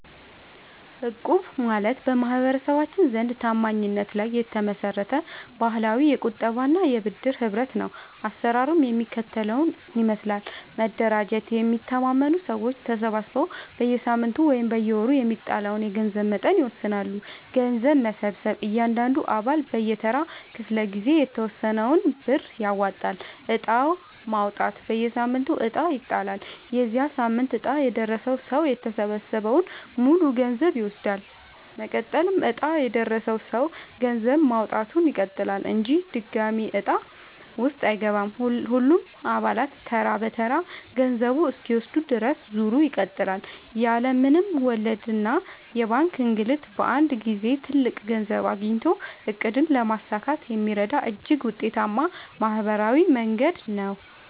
እቁብ ማለት በማህበረሰባችን ዘንድ ታማኝነት ላይ የተመሰረተ ባህላዊ የቁጠባና የብድር ህብረት ነው። አሰራሩ የሚከተለውን ይመስላል፦ መደራጀት፦ የሚተማመኑ ሰዎች ተሰባስበው በየሳምንቱ ወይም በየወሩ የሚጣለውን የገንዘብ መጠን ይወስናሉ። ገንዘብ መሰብሰብ፦ እያንዳንዱ አባል በየተራው ክፍለ-ጊዜ የተወሰነውን ብር ያዋጣል። ዕጣ ማውጣት፦ በየሳምንቱ ዕጣ ይጣላል። የዚያ ሳምንት ዕጣ የደረሰው ሰው የተሰበሰበውን ሙሉ ገንዘብ ይወስዳል። መቀጠል፦ ዕጣ የደረሰው ሰው ገንዘብ ማዋጣቱን ይቀጥላል እንጂ ድጋሚ ዕጣ ውስጥ አይገባም። ሁሉም አባላት ተራ በተራ ገንዘቡን እስኪወስዱ ድረስ ዙሩ ይቀጥላል። ያለ ምንም ወለድና የባንክ እንግልት በአንድ ጊዜ ትልቅ ገንዘብ አግኝቶ ዕቅድን ለማሳካት የሚረዳ እጅግ ውጤታማ ማህበራዊ መንገድ ነው።